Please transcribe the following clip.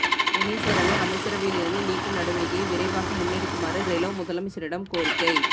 டெனீஸ்வரனை அமைச்சரவையில் இருந்து நீக்கும் நடவடிக்கையை விரைவாக முன்னெடுக்குமாறு ரெலோ முதலமைச்சரிடம் கோரிக்கை